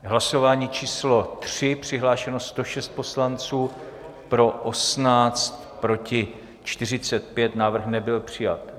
Hlasování číslo 3, přihlášeno 106 poslanců, pro 18, proti 45, návrh nebyl přijat.